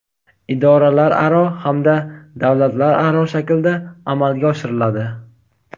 idoralararo hamda davlatlararo shaklda amalga oshiriladi.